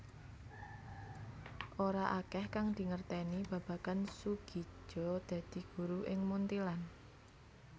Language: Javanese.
Ora akèh kang dingertèni babagan Soegija dadi guru ing Munthilan